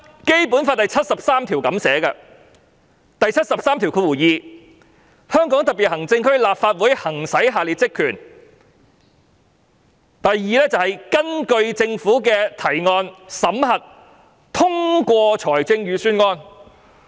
《基本法》第七十三條列明，"香港特別行政區立法會行使下列職權︰二根據政府的提案，審核、通過財政預算"。